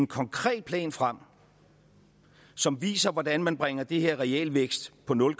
konkret plan frem som viser hvordan man bringer den her realvækst på nul